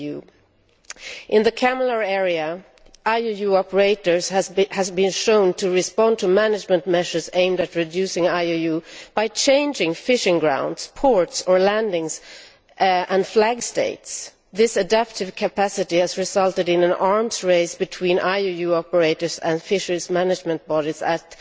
EU. In the CCAMLR area, IUU operators have been shown to respond to management measures aimed at reducing IUU by changing fishing grounds, ports, landings and flag states. This adaptive capacity has resulted in an arms race between IUU operators and fisheries management bodies